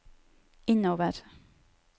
innover